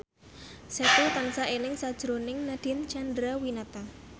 Setu tansah eling sakjroning Nadine Chandrawinata